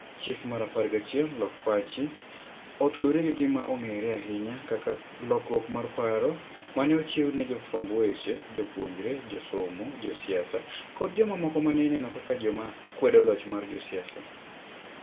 Chik mar 11: 'Lok Pachi,' otudore gi gima ong'ere ahinya kaka 'lokruok mar paro' ma ne ochiw ne jofwamb weche, jopuonjre, josomo, josiasa, koda jomamoko ma ne ineno kaka joma kwedo loch mar josiasa.